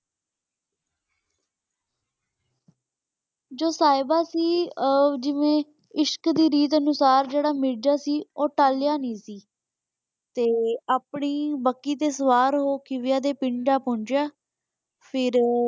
ਜੋ ਸਾਹਿਬ ਸੀ ਆਹ ਜਿਵੇਂ ਇਸ਼ਕ ਦੀ ਰੀਤ ਅਨੁਸਾਰ ਜਿਹੜਾ ਮਿਰਜ਼ਾ ਸੀ ਉਹ ਟਾਲਿਆ ਨਹੀਂ ਸੀ ਤੇ ਆਪਣੀ ਬੱਗੀ ਸੇ ਸਵਾਰ ਹੋਕੇ ਪਿੰਡ ਆ ਪਹੁੰਚਿਆ ਫਿਰ।